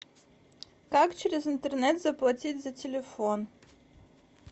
как через интернет заплатить за телефон